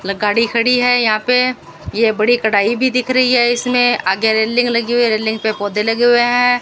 गाड़ी खड़ी है यहां पे ये बड़ी कड़ाई भी दिख रही है इसमें आगे रेलिंग लगी हुई है रेलिंग पे पौधे लगे हुए है।